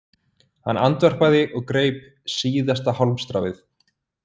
Hann andvarpaði og greip síðasta hálmstráið